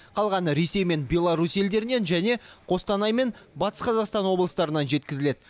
қалғаны ресей мен беларусь елдерінен және қостанай мен батыс қазақстан облыстарынан жеткізіледі